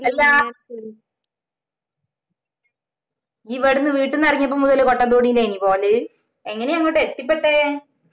അല്ലാ ഇഞ ഇവിടന്ന് വീട്ടീന്ന് ഇറങ്ങിയപ്പോ മുതല് കൊട്ട തോണീലെനോ പോയത് എങ്ങനെയാ അങ്ങോട്ട് എത്തിപ്പെട്ടേ